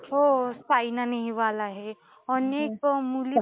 हो. सायना नेहवाल आहे. अनेक मुली